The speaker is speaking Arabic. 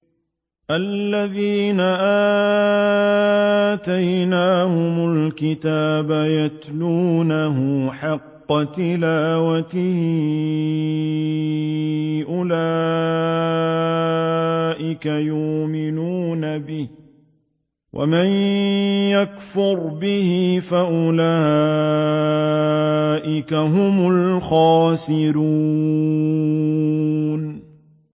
الَّذِينَ آتَيْنَاهُمُ الْكِتَابَ يَتْلُونَهُ حَقَّ تِلَاوَتِهِ أُولَٰئِكَ يُؤْمِنُونَ بِهِ ۗ وَمَن يَكْفُرْ بِهِ فَأُولَٰئِكَ هُمُ الْخَاسِرُونَ